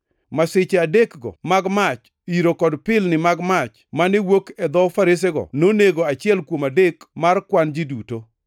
Masiche adekgo mag mach, yiro kod pilni mag mach mane wuok e dho faresego nonego achiel kuom adek mar kwan ji duto.